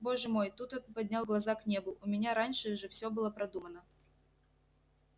боже мой тут он поднял глаза к небу у меня раньше же всё было продумано